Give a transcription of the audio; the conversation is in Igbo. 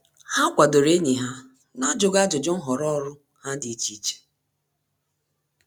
Há kwàdòrò ényì ha n’ájụ́ghị́ ájụ́jụ́ nhọrọ ọ́rụ́ ha dị́ iche iche.